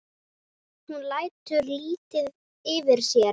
Hún lætur lítið yfir sér.